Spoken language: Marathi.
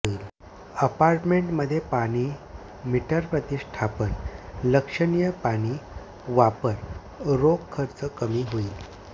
अपार्टमेंट मध्ये पाणी मीटर प्रतिष्ठापन लक्षणीय पाणी वापर रोख खर्च कमी होईल